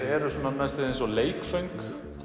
eru næstum eins og leikföng